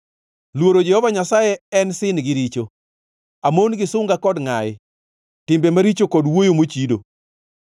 Luoro Jehova Nyasaye en sin gi richo; amon gi sunga kod ngʼayi, timbe maricho kod wuoyo mochido.